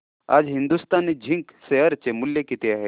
आज Hindustan Zinc share चे मूल्य किती आहे